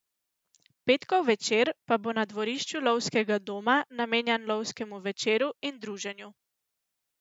Petkov večer pa bo na dvorišču lovskega doma namenjen lovskemu večeru in druženju.